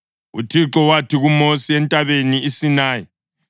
UThixo wathi kuMosi entabeni iSinayi,